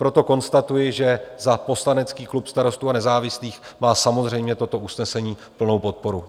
Proto konstatuji, že za poslanecký klub Starostů a nezávislých má samozřejmě toto usnesení plnou podporu.